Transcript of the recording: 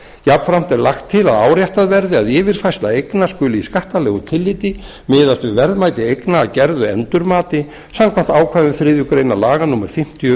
jafnframt er lagt til að áréttað verði að yfirfærsla eigna skuli í skattalegu tilliti miðast við verðmæti eigna að gerðu endurmati samkvæmt ákvæðum þriðju grein laga númer fimmtíu